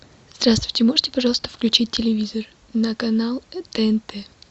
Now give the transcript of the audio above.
здравствуйте можете пожалуйста включить телевизор на канал тнт